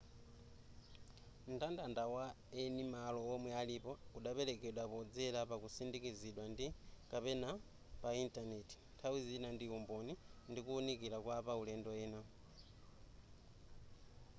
mndandanda wa eni malo omwe alipo udaperekedwa podzera pakutsindikizidwa ndi/ kapena pa intaneti nthawi zina ndi umboni ndi kuwunikira kwa apaulendo ena